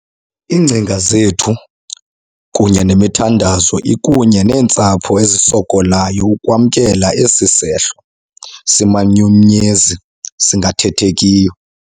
Iingcinga zethu kunye nemithandazo ikunye neentsapho ezisokolayo ukwamkela esi sehlo simanyumnyezi singathethekiyo.